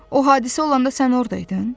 O hadisə olanda sən orda idin?